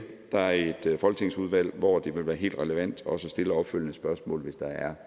der er et folketingsudvalg hvor det vil være helt relevant også at stille opstille opfølgende spørgsmål hvis der er